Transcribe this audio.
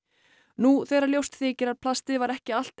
nú þegar ljóst þykir að plastið var ekki allt